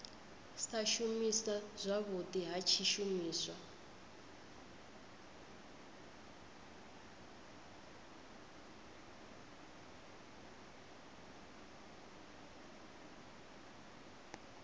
sa shuma zwavhudi ha tshishumiswa